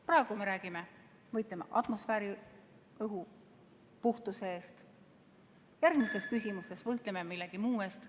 Praegu me võitleme atmosfääriõhu puhtuse eest, järgmistes küsimustes võitleme millegi muu eest.